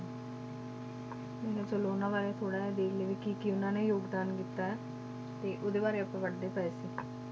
ਮੈਂ ਕਿਹਾ ਚਲੋ ਉਹਨਾਂ ਬਾਰੇ ਥੋੜ੍ਹਾ ਜਿਹਾ ਦੇਖ ਲਈਏ ਵੀ ਕੀ ਕੀ ਉਹਨਾਂ ਨੇ ਯੋਗਦਾਨ ਕੀਤਾ ਹੈ, ਤੇ ਉਹਦੇ ਬਾਰੇ ਆਪਾਂ ਪੜ੍ਹਦੇ ਪਏ ਸੀ